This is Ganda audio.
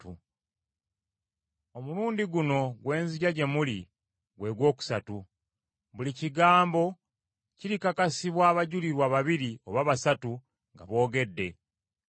Omulundi guno gwe nzija gye muli gwe gwokusatu. Buli kigambo kirikakasibwa abajulirwa babiri oba basatu nga boogedde.